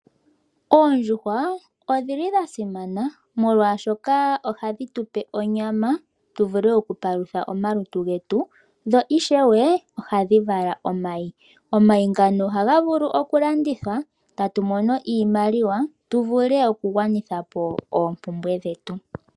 Oondjuhwa odhili dhasimana, molwaashoka ohadhi tupe onyama tuvule okupalutha omalutu getu, dho ishewe ohadhi vala omayi. Omayi ngano ohaga vulu okulandithwa tatu mono iimaliwa tuvule okugwanitha po oompumbwe dhetu.